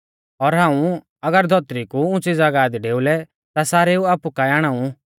और हाऊं अगर धौतरी कु उंच़ी ज़ागाह दी डेउलै ता सारेऊ आपु काऐ आणाऊ